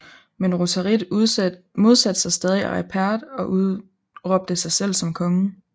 Men Rotarit modsatte sig stadig Aripert og udråbte sig selv som konge